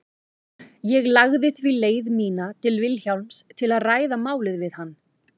Ég lagði því leið mína til Vilhjálms til að ræða málið við hann.